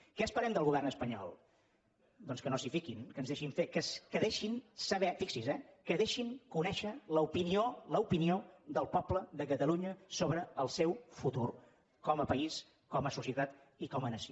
què esperem del govern espanyol doncs que no s’hi fiquin que ens deixin fer que deixin saber fixi’s eh que deixin conèixer l’opinió l’opinió del poble de catalunya sobre el seu futur com a país com a societat i com a nació